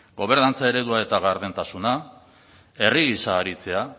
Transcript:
gobernantza eredua eta gardentasuna herri gisa aritzea